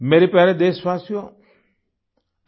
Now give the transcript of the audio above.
मेरे प्यारे देशवाशियो